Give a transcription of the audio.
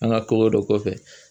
An ka koko dɔ kɔfɛ